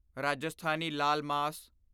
Rajasthani laal ਮਾਸ